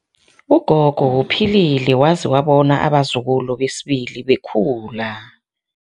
Ugogo uphilile waze wabona abazukulu besibili bekhula.